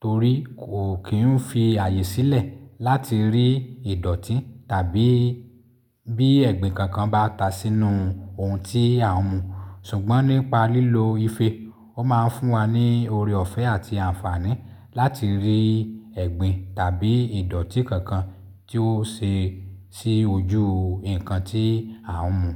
torí kò kín ń fi ààyè sílẹ̀ láti rí ìdọ̀tí tàbí bí ẹ̀gbin kankan bá ta sínú ohun tí à ń mu. Ṣùgbọ́n nípa lílo ife, ó ma ń fún wa ní oore ọ̀fẹ́ àti àǹfààní láti rí ẹ̀gbin tàbí ìdọ̀tí kankan tí ó ṣe sí ojú nǹkan tí à ń mu.